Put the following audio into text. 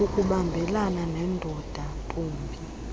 ukubambelana neendoda ntombini